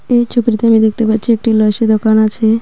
এই ছবিটিতে আমি দেখতে পাচ্ছি একটি লস্যি দোকান আছে.